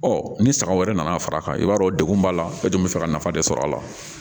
ni saga wɛrɛ nana far'a kan i b'a dɔn degun b'a la e dun bɛ fɛ ka nafa de sɔr'a la